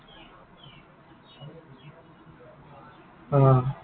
অ।